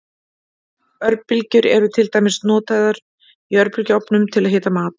Örbylgjur eru til dæmis notaður í örbylgjuofnum til að hita mat.